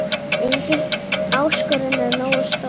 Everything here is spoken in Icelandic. Engin áskorun er nógu stór.